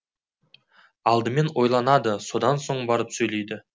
алдыменен ойланады одан соң барып сөйлейді